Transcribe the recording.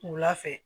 Wula fɛ